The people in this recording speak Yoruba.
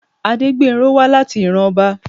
Adégbénró wá láti ìran ọba.